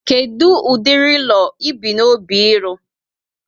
Kedu ụdịrị ụlọ ibu n'obi ịlụ?